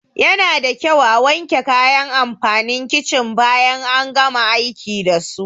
Yanada kyau a wanke kayan amfanin kicin bayan an gama aiki dasu.